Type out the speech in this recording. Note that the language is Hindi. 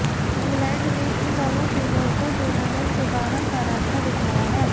इंग्ालैंड ने इन दोनों टीमों को टूर्नामेंट से बाहर का रास्ता दिखाया है